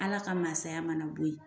Ala ka mansaya mana bɔ yen